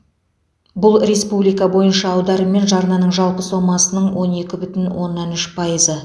бұл республика бойынша аударым мен жарнаның жалпы сомасының он екі бүтін оннан үш пайызы